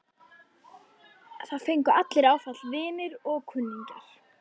Það fengu allir áfall, vinir og kunningjar.